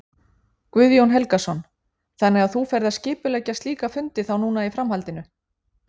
Guðjón Helgason: Þannig að þú ferð að skipuleggja slíka fundi þá núna í framhaldinu?